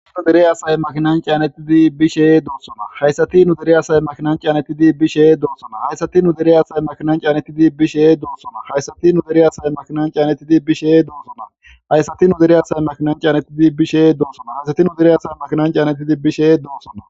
Haysati Nu dere asayi makinani caanetidi bishe dosona.